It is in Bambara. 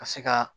Ka se ka